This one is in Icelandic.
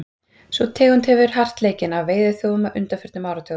sú tegund hefur verið hart leikinn af veiðiþjófum á undanförnum áratugum